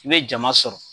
I bɛ jama sɔrɔ